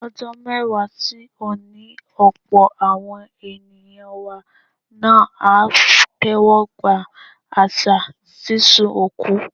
Ọdún mẹ́wàá sí òní, ọ̀pọ̀ àwọn ènìyàn wa náà á tẹ́wọ́gba àṣà sísun òkú.